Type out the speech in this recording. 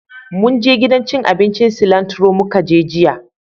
Munje gidan cin abincin Cilantro mu ka je jiya